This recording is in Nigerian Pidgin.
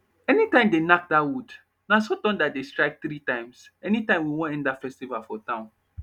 anytime they nack that wood naso thunder dey strike three times anytime we wan end that festival for town